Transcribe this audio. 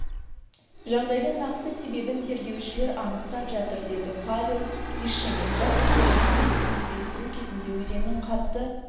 жағдайдың нақты себебін тергеушілер анықтап жатыр деді павел вишенин жасөспірімнің денесін іздестіру кезінде өзеннің қатты